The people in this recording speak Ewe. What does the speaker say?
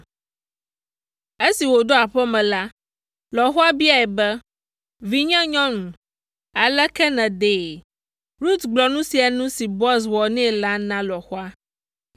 Esi wòɖo aƒe me la, lɔ̃xoa biae be, “Vinyenyɔnu, aleke nèdee?” Rut gblɔ nu sia nu si Boaz wɔ nɛ la na lɔ̃xoa,